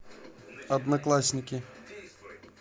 одноклассники